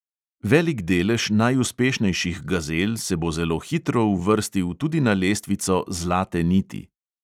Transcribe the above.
Velik delež najuspešnejših gazel se bo zelo hitro uvrstil tudi na lestvico zlate niti.